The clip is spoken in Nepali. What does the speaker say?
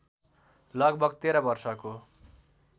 लगभग १३ वर्षको